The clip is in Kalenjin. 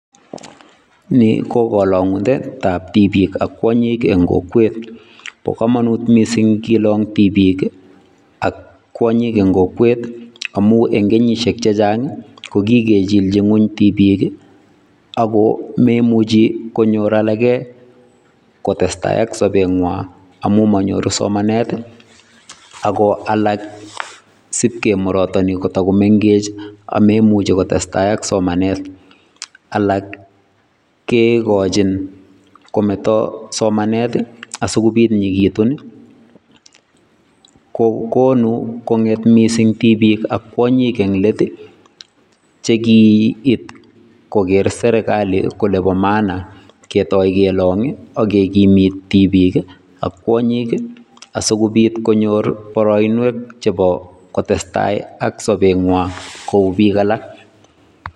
Ni kokalongutetab tibik ak kwonyik eng kokwet bo komonut mising kelong tibik ak kwonyik eng kokwet amu eng kenyisiek chechang kokikechilji ngony tibik ako memuchi konyor alake kotestai ak sobetnywa amu manyoru somanet ako alak sibkemurotoni kotakomengech amemuji kotestai ak somanet alak kekojin kometo somanet asikobit nyeketun kokonu konget mising tibik ak kwonyik englet chekiit kokeer serikali kole bo maana ketoi kelong agekimit tibik ak kwonyik asikobit konyor boroinwek chebo kotestai ak sobetnywa kou bik alak.